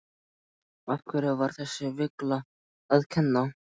Hverjum var þessi villa að kenna?